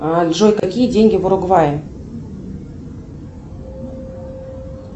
джой какие деньги в уругвае